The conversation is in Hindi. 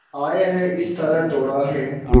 आए हैं इस तरह दोराहे